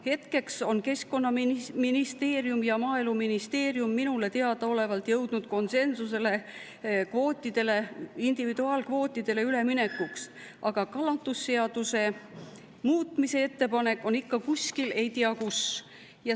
Hetkel on Keskkonnaministeerium ja Maaeluministeerium minule teadaolevalt jõudnud konsensusele, et individuaalkvootidele, aga kalandusseaduse muutmise ettepanek on ikka kuskil, ei tea kus.